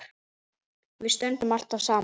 Við stöndum alltaf saman